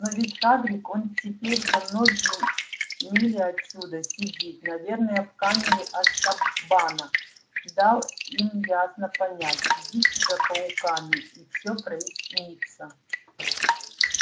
но ведь хагрид он теперь за многие мили отсюда сидит наверное в камере азкабана дал им ясно понять идите за пауками и всё прояснится